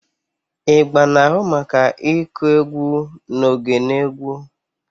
Igba na-ahụ maka ịkụ egwu na oge na egwu.